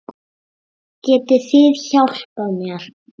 Getið þið hjálpað mér?